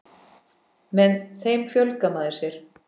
Með þeim fjölgar maður sér.